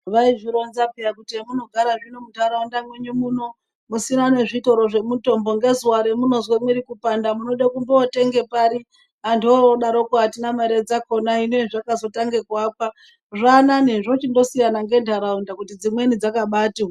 Vaizvironza peya kuti hemunogara hino muntaraunda mwenyu muno musina nezvitoro zvemutombo ngezuvaro remunozwe mwiri kupanda munode kumbo tenge pari. Antu vodaroko hatina mare dzakona hino hezvakazotange kuakwa zvanane zvochindosiyana nentaraunda kuti dzimweni dzakabati hwee.